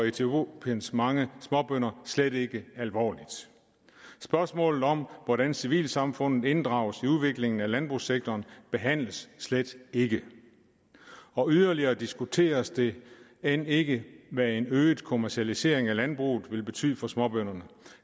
etiopiens mange småbønder slet ikke alvorligt spørgsmålet om hvordan civilsamfundet inddrages i udviklingen af landbrugssektoren behandles slet ikke og yderligere diskuteres det end ikke hvad en øget kommercialisering af landbruget vil betyde for småbønderne